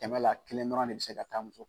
Tɛmɛ la kelen dɔrɔn ne bɛ se ka taa muso